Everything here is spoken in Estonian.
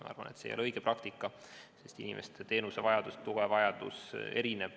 Ma arvan, et see ei ole õige praktika, sest inimeste teenuse- ja toetusvajadus on erinev.